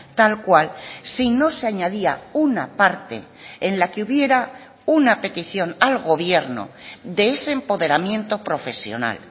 tal cual si no se añadía una parte en la que hubiera una petición al gobierno de ese empoderamiento profesional